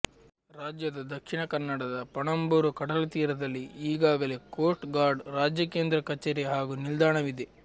ರಾಜ್ಯದ ದಕ್ಷಿಣ ಕನ್ನಡದ ಪಣಂಬೂರು ಕಡಲತೀರದಲ್ಲಿ ಈಗಾಗಲೇ ಕೋಸ್ಟ್ ಗಾರ್ಡ್ ರಾಜ್ಯ ಕೇಂದ್ರ ಕಚೇರಿ ಹಾಗೂ ನಿಲ್ದಾಣವಿದೆ